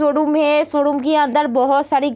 Showroom है। Showroom के अंदर बहोत सारी --